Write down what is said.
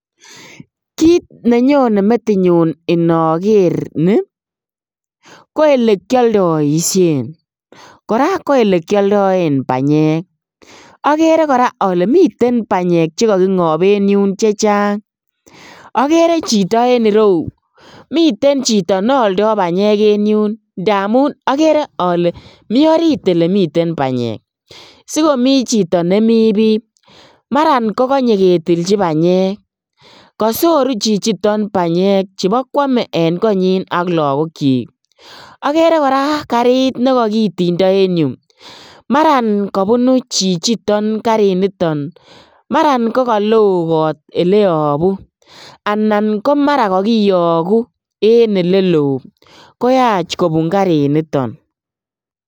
Kiit nenyone metinyun inoker nii ko elekioldoishen kora ko elekioldoen banyek, okere kora olee miten banyek chekoki ng'ob en yuun chechang, okere chito en ireyu miten chito neoldo banyek en yuun ndamun okere olee mii oriit olemiten banyek, sikomii chito nemi bii maran kokonye ketilchi banyek, kosoru chichiton banyek chebokwome en konyin ak lokokyik, akere kora kariit nekokitindo en yuu, maran kobunu chichiton kariniton, maran ko koloo kot oleyobu anan komara kokiyoku en eleloo koyach kobun kariniton.